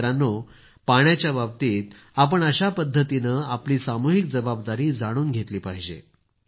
मित्रांनो पाण्याच्याबाबतीत आपण अशा पद्धतीनं आपली सामूहिक जबाबदारी जाणून घेतली पाहिजे